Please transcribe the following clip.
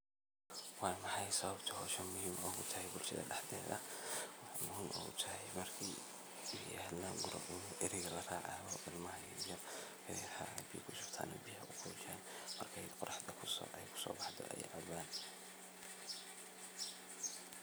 Waa maxay sababta hawshani muhiim ugutahy bulshada daxdeedha? waxey muhiim utahy marki laguro waxaa biyo kushubta marka eriga laraacayo ilmohu waxey cabaan markey qoraxdu kusookululaato.